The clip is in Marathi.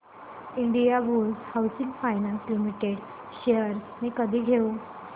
Indiabulls housing finance limited shares मी कधी घेऊ